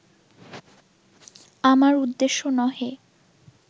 আমার উদ্দেশ্য নহে